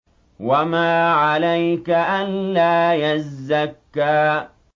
وَمَا عَلَيْكَ أَلَّا يَزَّكَّىٰ